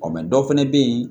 Ɔ dɔ fɛnɛ bɛ yen